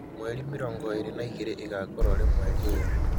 mweri mīrongo īri na īgiri īgakorwo rīī mweri ūyū